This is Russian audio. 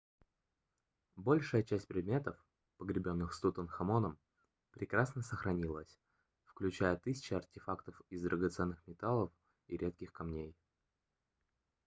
большая часть предметов погребенных с тутанхамоном прекрасно сохранилась включая тысячи артефактов из драгоценных металлов и редких камней